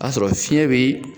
O y'a sɔrɔ fiɲɛ be